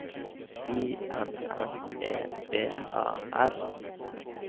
I N N E B A R